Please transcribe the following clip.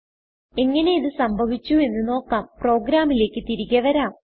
എങ്ങനെ ഇത് സംഭവിച്ചുവെന്ന് നോക്കാം പ്രോഗ്രാമിലേക്ക് തിരികെ വരാം